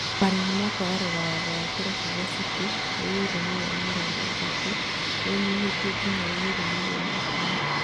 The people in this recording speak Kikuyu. Marĩhi ma kwagarara watho ma Kĩrabu gĩa City nĩ yuro mirioni mĩrongo ĩtatũ nĩnyihĩtio nginya yuro mirioni ikũmi